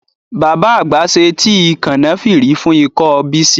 Bàbá àgbà ṣe tíì Kànáfìrì fún ikọ́ Bísí